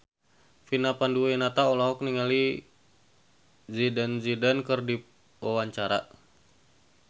Vina Panduwinata olohok ningali Zidane Zidane keur diwawancara